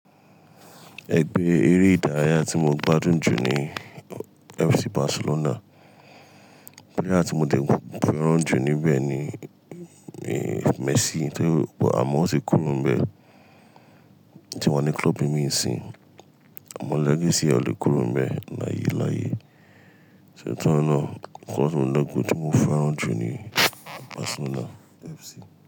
Ẹ gbe eré ìdárayá tí mo gbádùn jù ní FC Barcelona. Player tí mo dẹ̀ fẹ́ràn jù níbẹ̀ ni Messi, tó àmọ́ ó ti kúró ń bẹ̀. Tí wa ní club ìmí sììn, àmọ́ legacy e ò lè kúrò ń bẹ̀ láyé láyé. Nitori náà, person club tí mo fẹ́ràn jù ní Barcelona FC.